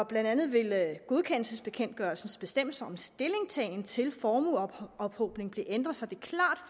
blandt andet vil godkendelsesbekendtgørelsens bestemmelser om stillingtagen til formueophobning blive ændret så det